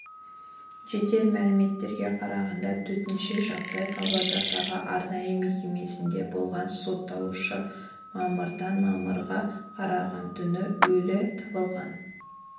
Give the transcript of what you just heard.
жедел мәліметтерге қарағанда төтенше жағдай павлодардағы арнайы мекемесінде болған сотталушы мамырдан мамырға қараған түні өлі табылған